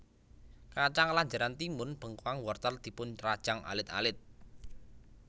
Kacang lanjaran timun bengkoang wortel dipun rajang alit alit